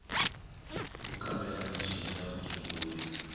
wo kambela michini ya vugembuli